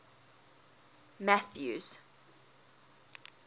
mathews